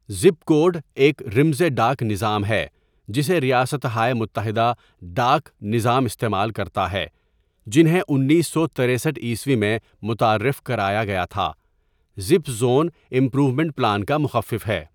Zip code ایک رمزِ ڈاک نظام ہے جسے ریاستہائے متحدہ ڈاک نظا٘م استعمال کرتا ہے جنہیں انیس سو ترسٹھ عیسوی میں متعارف کرایا گیا تھا زپ زون امپرومینٹ پلان کا مخفف ہے.